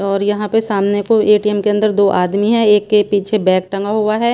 और यहाँ पे सामने को ए_टी_एम के अंदर दो आदमी हैं एक के पीछे बैग टंगा हुआ हैं।